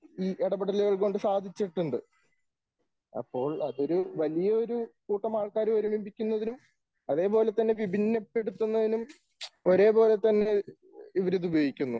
ഈ ഇടപെടലുകൾ കൊണ്ട് സാധിച്ചിട്ടുണ്ട്. അപ്പോൾ അതൊരു വലിയൊരു കൂട്ടം ആൾക്കാരെ ഒരുമിപ്പിക്കുന്നതിനും അതേപോലെതന്നെ വിഭിന്നപ്പെടുത്തുന്നതിനും ഒരേ പോലെ തന്നെ ഇവർ ഇത് ഉപയോഗിക്കുന്നു.